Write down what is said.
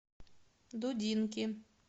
дудинки